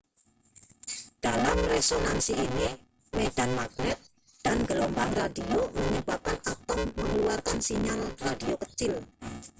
dalam resonansi ini medan magnet dan gelombang radio menyebabkan atom mengeluarkan sinyal radio kecil